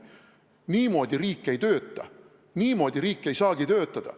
Niimoodi riik ei tööta, niimoodi riik ei saagi töötada.